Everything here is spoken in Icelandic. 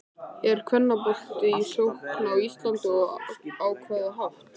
Er kvennaboltinn í sókn á Íslandi og á hvaða hátt?